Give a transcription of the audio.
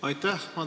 Aitäh!